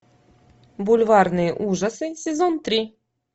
бульварные ужасы сезон три